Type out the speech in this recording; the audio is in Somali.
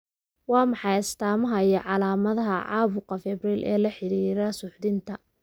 Waa maxay astamaha iyo calaamadaha caabuqa Febrile ee la xidhiidha suuxdinta?